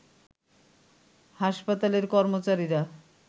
হাসপাতালের কর্মচারীরা